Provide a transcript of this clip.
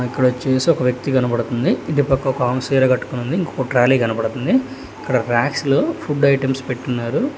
ఇక్కడ వచ్చేసి ఒక వ్యక్తి కనబడతుంది ఇటుపక్క ఒకామే చీర కట్టుకునింది ఇంకొక ట్రాలీ కనబడుతుంది ఇక్కడ ర్యాక్స్ లో ఫుడ్ ఐటమ్స్ పెట్టున్నారు.